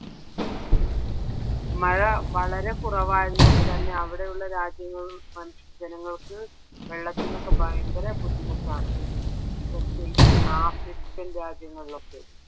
മഴ വളരെ കുറവായത് കൊണ്ട് തന്നെ അവിടെയുള്ള രാജ്യങ്ങളില ജനങ്ങൾക്ക് വെള്ളത്തിനൊക്കെ ഭയങ്കരം ബുദ്ധിമുട്ടാണ് പ്രത്യേകിച്ച് african രാജ്യങ്ങളിലൊക്കെ